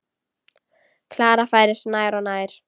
Klara færist nær og nær.